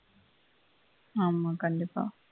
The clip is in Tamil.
ஆமா கண்டிப்பா